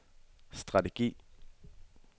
strategi